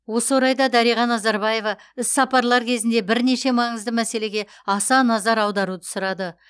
осы орайда дариға назарбаева іс сапарлар кезінде бірнеше маңызды мәселеге аса назар аударуды сұрады